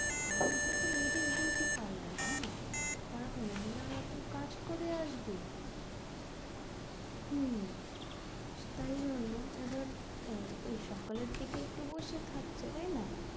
আর ওইটা তো ladies beauty parlour না? আর মহিলারা তো কাজ করে আসবেই হুম, তাইজন্য এবার সকালের দিকে একটু বসে থাকছে তাই না?